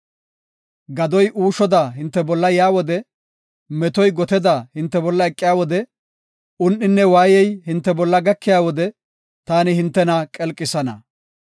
Gadoy uushoda hinte bolla yaa wode, metoy goteda hinte bolla eqiya wode, un7inne waayey hinte bolla gakiya wode, taani hintena qelqisana.